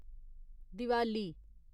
Diwali